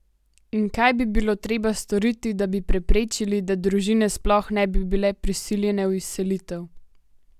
In kaj bi bilo treba storiti, da bi preprečili, da družine sploh ne bi bile prisiljene v izselitev?